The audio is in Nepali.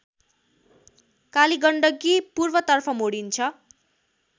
कालीगण्डकी पूर्वतर्फ मोडिन्छ